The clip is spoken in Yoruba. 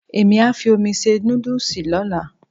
Èmí á fi omi se nódùsì lọ́la